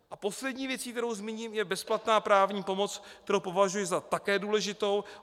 A poslední věcí, kterou zmíním, je bezplatná právní pomoc, kterou považuji také za důležitou.